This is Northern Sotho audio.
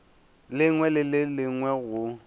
lengwe le le lengwe go